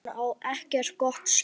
Hann á ekkert gott skilið.